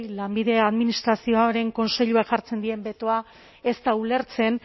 lanbidea administrazioa orain kontseilua jartzen diren betoa ez da ulertzen